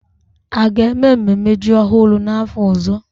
A ga-eme mmemme ji ọhụrụ n'afọ ọzọ?